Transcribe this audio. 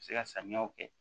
Se ka samiyaw kɛ